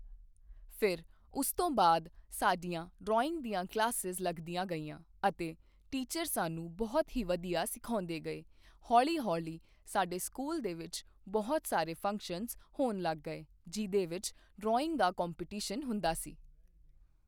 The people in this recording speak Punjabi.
ਫਿਰ ਉਸ ਤੋਂ ਬਾਅਦ ਸਾਡੀਆਂ ਡਰਾਇੰਗ ਦੀਆਂ ਕਲਾਸਿਜ਼ ਲੱਗਦੀਆਂ ਗਈਆਂ ਅਤੇ ਟੀਚਰ ਸਾਨੂੰ ਬਹੁਤ ਹੀ ਵਧੀਆ ਸਿਖਾਉਂਦੇ ਗਏ ਹੌਲੀ ਹੌਲੀ ਸਾਡੇ ਸਕੂਲ ਦੇ ਵਿੱਚ ਬਹੁਤ ਸਾਰੇ ਫੰਕਸ਼ਨਜ਼ ਹੋਣ ਲੱਗ ਗਏ ਜਿਹਦੇ ਵਿੱਚ ਡਰਾਇੰਗ ਦਾ ਕੰਪੀਟੀਸ਼ਨ ਹੁੰਦਾ ਸੀ